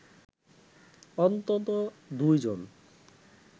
অন্তত দুজন